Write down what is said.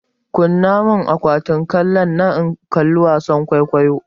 Kunna mun akwatin kallonnan in kalli wasan kwaikwayo!